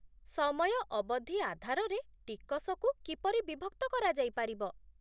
ସମୟ ଅବଧି ଆଧାରରେ ଟିକସକୁ କିପରି ବିଭକ୍ତ କରାଯାଇ ପାରିବ ?